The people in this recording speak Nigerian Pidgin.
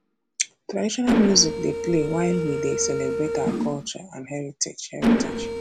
traditional music dey play while we dey celebrate our culture and heritage heritage